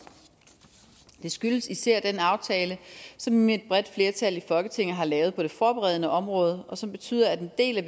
det skyldes især den aftale som et bredt flertal i folketinget har lavet på det forberedende område og som betyder at den del af